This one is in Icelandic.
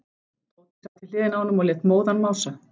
Tóti sat við hliðina á honum og lét móðan mása.